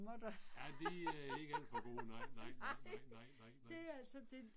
Ja de er ikke alt for gode nej nej nej nej nej nej nej